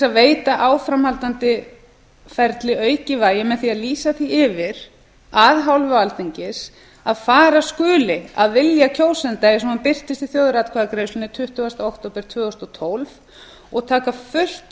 að veita áframhaldandi ferli aukið vægi með því að lýsa því yfir af hálfu alþingis að fara skuli að vilja kjósenda eins og hann birtist í þjóðaratkvæðagreiðslunni tuttugasta október tvö þúsund og tólf og taka fullt